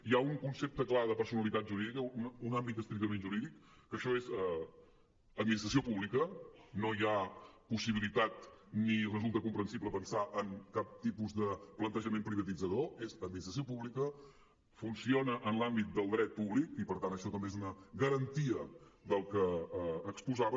hi ha un concepte clar de personalitat jurídica un àmbit estrictament jurídic que això és administració pública no hi ha possibilitat ni resulta comprensible pensar en cap tipus de plantejament privatitzador és administració pública funciona en l’àmbit del dret públic i per tant això també és una garantia del que exposava